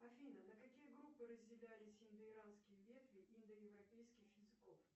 афина на какие группы разделялись индоиранские ветви индоевропейских языков